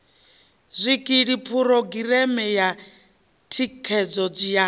zwikili phurogireme ya thikhedzo ya